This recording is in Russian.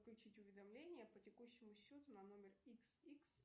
включить уведомление по текущему счету на номер икс икс